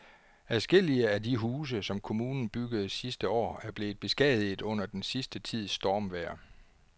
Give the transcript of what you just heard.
Adskillige af de huse, som kommunen byggede sidste år, er blevet beskadiget under den sidste tids stormvejr.